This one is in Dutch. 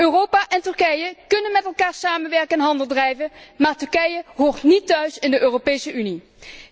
Europa en Turkije kunnen met elkaar samenwerken en handel drijven, maar Turkije hoort niet thuis in de Europese Unie.